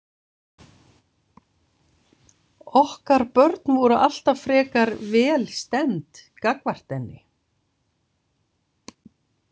Okkar börn voru alltaf frekar vel stemmd gagnvart henni.